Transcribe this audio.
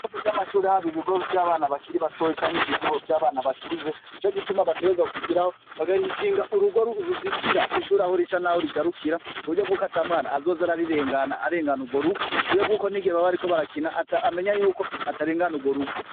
Bose vy'amashuri haba ibigo vy'abana bakiri batoye canke ibigo vy'abana bakuze jo gituma batereza kugiraho bagahishinga urugoruruzitira ishuri aho rica, naho rigarukira ku buryo bwuko atamwana azoza ararirengana arengana urwo rugo ku buryo bw'uko ni gihe babe, ariko barakina aamenya yuko atarengana urwo rugo.